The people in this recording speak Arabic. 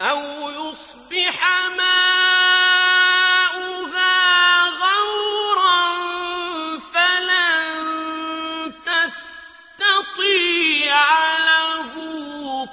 أَوْ يُصْبِحَ مَاؤُهَا غَوْرًا فَلَن تَسْتَطِيعَ لَهُ